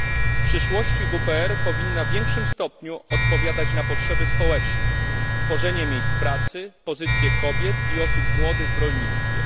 W przyszłości WPR powinna w większym stopniu odpowiadać na potrzeby społeczne, tworzenie miejsc pracy, pozycję kobiet i osób młodych w rolnictwie.